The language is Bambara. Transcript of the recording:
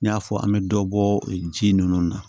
N y'a fɔ an bɛ dɔ bɔ ji ninnu na